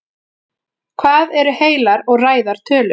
hvað eru heilar og ræðar tölur